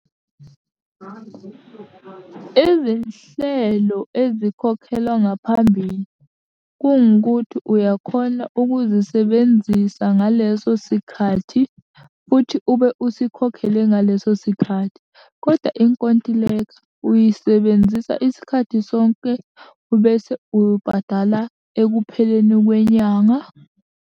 Izinhlelo ezikhokhelwa ngaphambili, kungukuthi uyakhona ukuzisebenzisa ngalesosikhathi, futhi ube usikhokhele ngaleso sikhathi, koda inkontileka uyisebenzisa isikhathi sonke, ubese ubhadala ekupheleni kwenyanga.